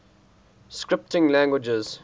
scripting languages